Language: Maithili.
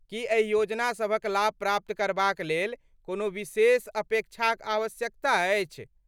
की एहि योजना सभक लाभ प्राप्त करबाक लेल कोनो विशेष अपेक्षाक आवश्यकता अछि?